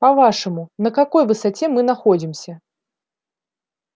по-вашему на какой высоте мы находимся